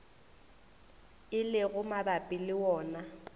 e lego mabapi le wona